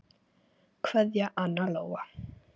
Kveðja, Anna Lóa.